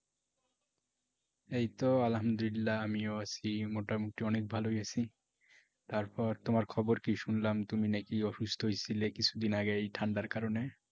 এই তো আলহামদুলল্লাহ আমিও আছি মোটামুটি অনেক ভালোই আছি। তারপর তোমার খবর কি শুনলাম তুমি নাকি অসুস্থ হয়েছিলে কিছুদিন আগে এই ঠান্ডার কারণে?